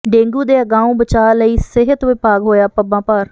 dengue ਦੇ ਅਗਾਉਂ ਬਚਾਅ ਲਈ ਸਿਹਤ ਵਿਭਾਗ ਹੋਇਆ ਪੱਬਾਂ ਭਾਰ